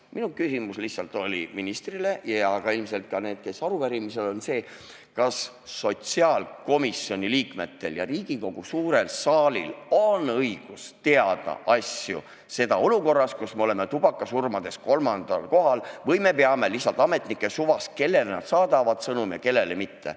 Minu küsimus ministrile lihtsalt oli see – ja ka ilmselt nendel, kes aru pärisid –, kas sotsiaalkomisjoni liikmetel ja Riigikogu suurel saalil on õigus teada asju, seda olukorras, kus me oleme tubakasurmadega kolmandal kohal, või me peame sõltuma lihtsalt ametnike suvast, kellele nad saadavad sõnumi ja kellele mitte.